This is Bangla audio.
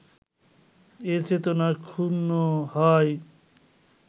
এ চেতনা ক্ষুণ্ণ হয়